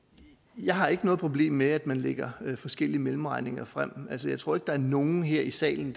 jeg har ikke noget problem med at man lægger forskellige mellemregninger frem altså jeg tror ikke at der er nogen her i salen